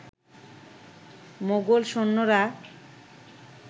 মোগল সৈন্যরা